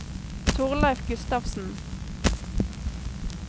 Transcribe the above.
Torleif Gustavsen